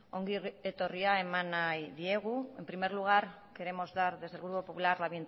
ongi etorria eman nahi diegu en primer lugar queremos dar desde el grupo popular la